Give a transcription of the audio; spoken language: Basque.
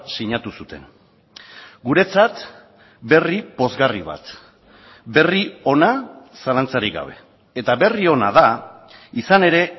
sinatu zuten guretzat berri pozgarri bat berri ona zalantzarik gabe eta berri ona da izan ere